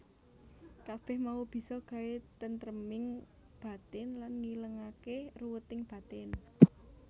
Kabeh mau bisa gawé tentreming batin lan ngilangake ruweting batin